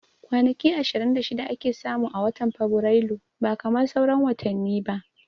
Kwanaki ishirin da shida ake samu a watan fabirailu ba kamar sauran watani ba